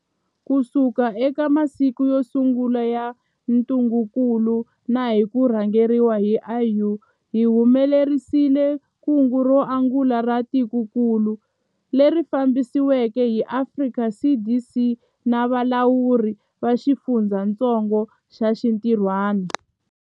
Kusuka eka masiku yo sungula ya ntungukulu na hi ku rhangeriwa hi AU, hi humelerisile kungu ro angula ra tikokulu, leri fambisiweke hi Afrika CDC na valawuri va xifundzatsongo va xinti rhwana.